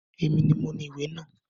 Èmi ni moní ìwé náà